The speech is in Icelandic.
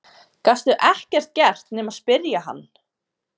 Gastu ekkert gert nema spyrja hann?